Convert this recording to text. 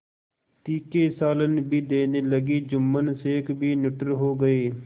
तीखे सालन भी देने लगी जुम्मन शेख भी निठुर हो गये